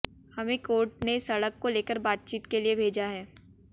हमें कोर्ट ने सड़क को लेकर बातचीत के लिए भेजा है